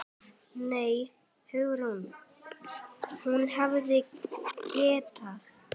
Nei, Hugrún, hún hefði getað.